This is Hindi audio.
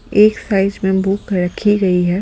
एक साइज में बुक रखी है।